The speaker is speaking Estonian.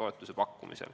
toetuse pakkumisel.